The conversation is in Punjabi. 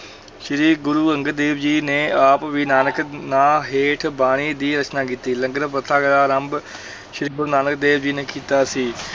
ਸ੍ਰੀ ਗੁਰੂ ਅੰਗਦ ਦੇਵ ਜੀ ਨੇ ਆਪ ਵੀ ਨਾਨਕ ਨਾਂ ਹੇਠ ਬਾਣੀ ਦੀ ਰਚਨਾ ਕੀਤੀ, ਲੰਗਰ ਪ੍ਰਥਾ ਦਾ ਆਰੰਭ ਸ੍ਰੀ ਗੁਰੂ ਨਾਨਕ ਦੇਵ ਜੀ ਨੇ ਕੀਤਾ ਸੀ।